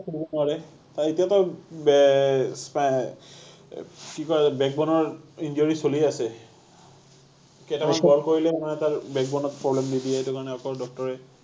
নোৱাৰে আৰু এতিয়াটো বে এৰ স্পাই এৰ কি কয় back bone ৰ injury চলি আছে, কেইটামান বল কৰিলে মানে তাৰ back bone ত problem দি দিয়ে সেইটো কাৰণে অকল ডাক্তৰ এ